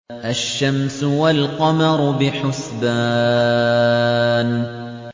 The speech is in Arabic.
الشَّمْسُ وَالْقَمَرُ بِحُسْبَانٍ